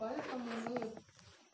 поэтому